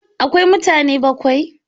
Akwai mutane bakwai?